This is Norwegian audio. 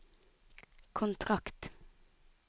kontrakt